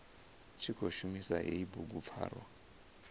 tshi khou shumisa hei bugupfarwa